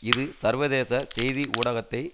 இது சர்வதேச செய்தி ஊடகத்தை